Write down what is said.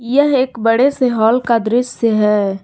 यह एक बड़े से हॉल का दृश्य है।